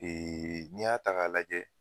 n'i y'a ta k'a lajɛ.